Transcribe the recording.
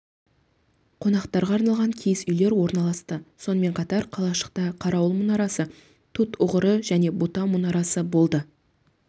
қонақтарға арналған киіз үйлер орналасты сонымен қатар қалашықта қарауыл мұнарасы тутұғыры және бута мұранасы болды